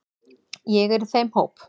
Ég er í þeim hóp.